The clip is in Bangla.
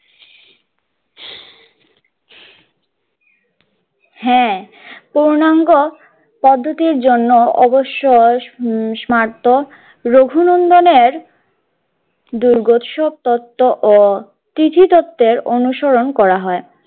হ্যাঁ পূর্ণাঙ্গ পদ্ধতির জন্য অবশ্যই রঘু নন্দনের দুর্গোৎসব তত্ত্ব ও তিথি তত্ত্বের অনুসরণ করা হয়।